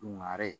Dungare